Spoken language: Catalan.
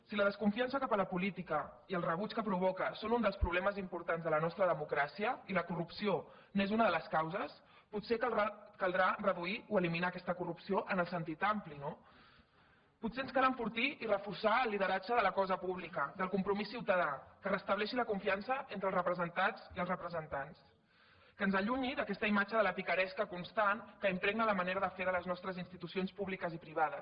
si la desconfiança cap a la política i el rebuig que provoca són un dels problemes importants de la nostra democràcia i la corrupció n’és una de les causes potser caldrà reduir o eliminar aquesta corrupció en el sentit ampli no potser ens cal enfortir i reforçar el lideratge de la cosa pública del compromís ciutadà que es restableixi la confiança entre els representats i els representants que ens allunyi d’aquesta imatge de la picaresca constant que impregna la manera de fer de les nostres institucions públiques i privades